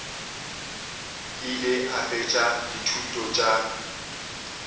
ile a fetša dithuto tša